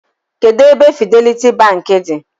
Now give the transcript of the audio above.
Kedụ ebe Fidelity Bank dị?